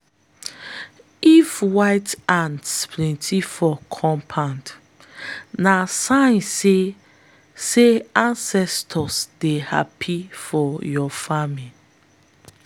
if white ants plenty for compound na sign say say ancestors dey happy for your farming.